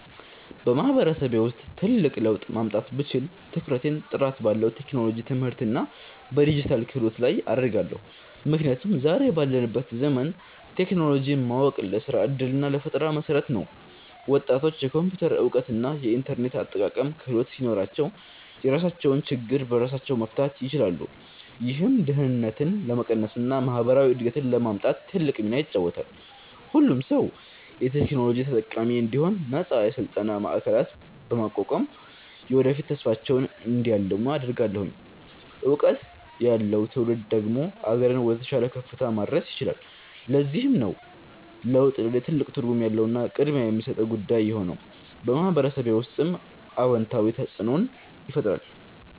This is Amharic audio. በማህበረሰቤ ውስጥ ትልቅ ለውጥ ማምጣት ብችል፣ ትኩረቴን ጥራት ባለው የቴክኖሎጂ ትምህርትና በዲጂታል ክህሎት ላይ አደርጋለሁ። ምክንያቱም ዛሬ ባለንበት ዘመን ቴክኖሎጂን ማወቅ ለስራ ዕድልና ለፈጠራ መሠረት ነው። ወጣቶች የኮምፒውተር እውቀትና የኢንተርኔት አጠቃቀም ክህሎት ሲኖራቸው፣ የራሳቸውን ችግር በራሳቸው መፍታት ይችላሉ። ይህም ድህነትን ለመቀነስና ማህበራዊ እድገትን ለማምጣት ትልቅ ሚና ይጫወታል። ሁሉም ሰው የቴክኖሎጂ ተጠቃሚ እንዲሆን ነፃ የስልጠና ማዕከላትን በማቋቋም፣ የወደፊት ተስፋቸውን እንዲያልሙ አደርጋለሁ። እውቀት ያለው ትውልድ ደግሞ አገርን ወደተሻለ ከፍታ ማድረስ ይችላል። ለዚህም ነው ይህ ለውጥ ለእኔ ትልቅ ትርጉም ያለውና ቅድሚያ የምሰጠው ጉዳይ የሆነው፤ በማህበረሰቤ ውስጥም አዎንታዊ ተፅእኖን ይፈጥራል።